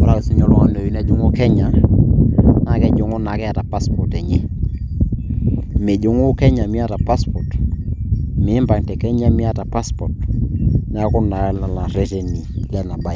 ore ake oltung'ani oyieu nejing'u Kenya naa kejing'u taake eeta passport enye mijing'u Kenya miata passport miimpang te kenya miata passport neeku naa lelo ireteni lena baye.